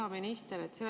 Hea minister!